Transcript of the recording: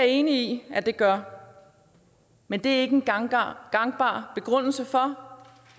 enig i at det gør men det er ikke en gangbar gangbar begrundelse for